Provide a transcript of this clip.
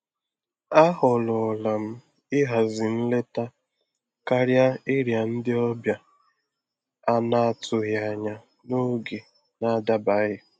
À họ́rọ́lá m íhází nlétá kárịá íriá ndí ọ́bịà à nà-àtụghí ányá n’ógé nà-àdábaghí.